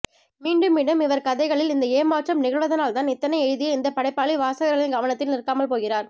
மீண்டும் மீண்டும் இவர் கதைகளில் இந்த ஏமாற்றம் நிகழ்வதனால்தான் இத்தனை எழுதிய இந்தப் படைப்பாளி வாசகர்களின் கவனத்தில் நிற்காமல் போகிறார்